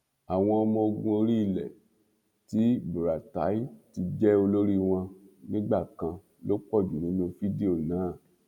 àwọn ọmọọgùn orí ilẹ tí buratai ti jẹ olórí wọn nígbà kan ló pọ jù nínú fídíò náà